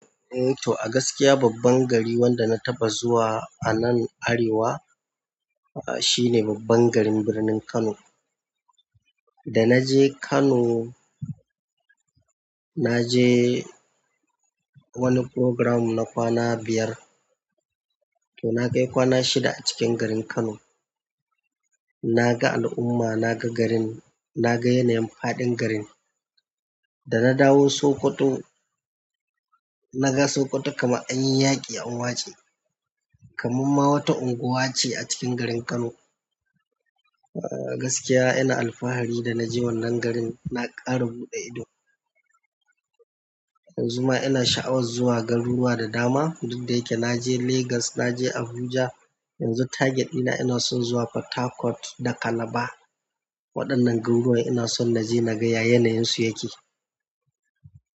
Eh to a gaskiya babban gari wanda na taɓa zuwa a nan Arewa, ah shine babban garin birnin Kano. Da na je Kano, na je wani programme na kwana biyar, to na kai kwana shida a cikin garin Kano. Na ga al'umma, na ga garin, na ga yanayin faɗin garin. Da na dawo Sokoto, na ga Sokoto kama anyi yaƙi an waste, kamam ma wata unguwa ce a cikin garin Kano. Ah gaskiya ina alfahari da na je wannan garin, na ƙara buɗe ido. Yanzu ma ina sha'awar zuwa garuruwa da dama. Duk da yake na je Legas, na je Abuja. Yanzu target ɗina ina son zuwa Port Harcourt da Calabar. Waɗannan garuruwa ina son na je na ga ya yanayansu yake.